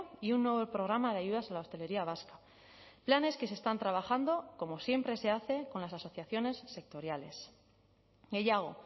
y un nuevo programa de ayudas a la hostelería vasca planes que se están trabajando como siempre se hace con las asociaciones sectoriales gehiago